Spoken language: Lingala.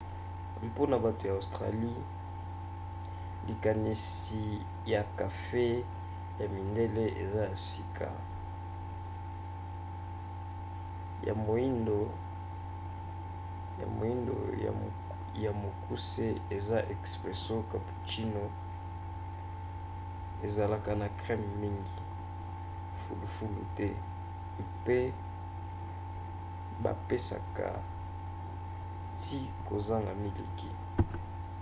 mpona bato ya australie likanisi ya kafe 'ya mindele' eza ya sika. ya moindo ya mokuse eza 'expresso' cappuccino ezalaka na creme mingi fulufulu te mpe bapesaka ti kozanga miliki